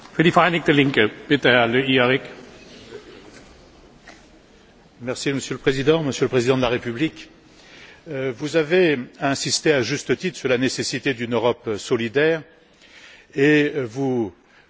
Monsieur le Président, Monsieur le Président de la République, vous avez insisté, à juste titre, sur la nécessité d'une Europe solidaire et vous vous battez avec votre gouvernement contre une violente fracture, qui, en raison